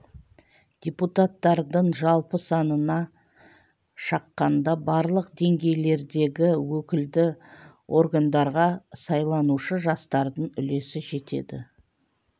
депутаттардың жалпы санына шаққанда барлық деңгейлердегі өкілді органдарға сайланушы жастардың үлесі жетеді